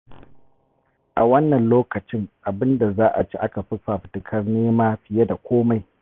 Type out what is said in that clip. A wannan lokacin abin da za ci aka fi fafutukar nema fiye da komai.